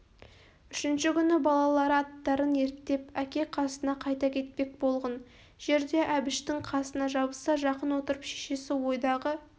үшінші күні балалары аттарын ерттеп әке қасына қайта кетпек болған жерде әбіштің қасына жабыса жақын отырып шешесі ойдағы